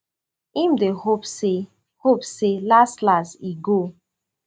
im dey hope say hope say laslas e go